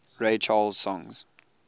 ray charles songs